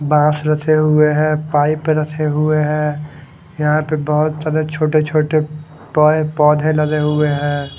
बास रचे हुए है पाइप रचे हुए है यहाँ पे बहोत सारे छोटे छोटे पेड़ पौदे लगे हुए है।